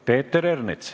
Peeter Ernits.